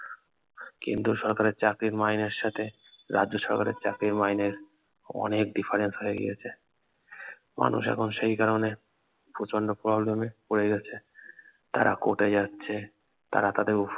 কেন্দ্রীয় সরকারের চাকরির মাইনের সাথে রাজ্য সরকারের চাকরির মাইনের অনেক difference হয়ে গিয়েছে মানুষ এখন সেই কারনে প্রচন্ড problem এ পড়ে গেছে তারা কোর্টে যাচ্ছে তারা তাদের